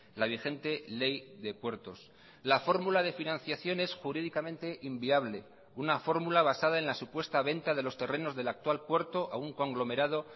la vigente ley de puertos la fórmula de financiación es jurídicamente inviable una fórmula basada en la supuesta venta de los terrenos del actual puerto a un conglomerado